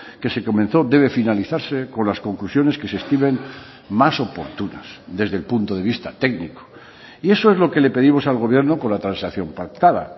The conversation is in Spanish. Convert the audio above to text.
que se comenzó debe finalizarse con las conclusiones que se estimen más oportunas desde el punto de vista técnico y eso es lo que le pedimos al gobierno con la transacción pactada